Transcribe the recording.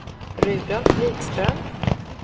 Rudolf Wikström